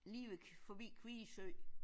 Lige ved forbi Kvie Sø